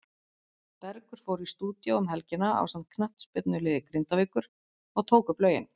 Bergur fór í stúdíó um helgina ásamt knattspyrnuliði Grindavíkur og tók upp lögin.